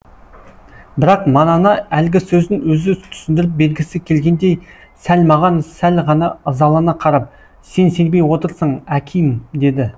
бірақ манана әлгі сөзін өзі түсіндіріп бергісі келгендей сәл маған сәл ғана ызалана қарап сен сенбей отырсың аким деді